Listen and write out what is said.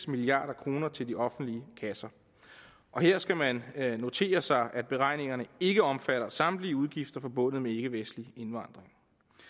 milliard kroner til de offentlige kasser her skal man notere sig at beregningerne ikke omfatter samtlige udgifter forbundet med ikkevestlig indvandring